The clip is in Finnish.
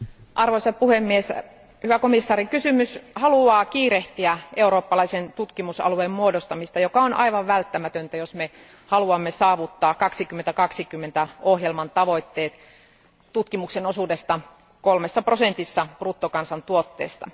Arvoisa puhemies, hyvä komissaari, kysymys haluaa kiirehtiä eurooppalaisen tutkimusalueen muodostamista, joka on aivan välttämätöntä, jos me haluamme saavuttaa 2020 ohjelman tavoitteet tutkimuksen osuudesta kolmessa prosentissa bruttokansantuotteesta.